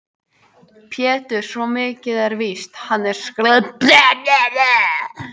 Pétur, svo mikið er víst, hann er svo skrækróma. það er þó ekki Ketill skólastjóri?